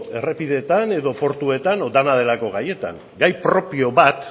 errepideetan edo portuetan edo dena delako gaietan gai propio bat